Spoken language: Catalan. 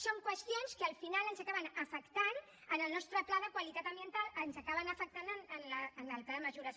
són qüestions que al final ens acaben afectant en el nostre pla de qualitat ambiental ens acaben afectant en el tema de mesures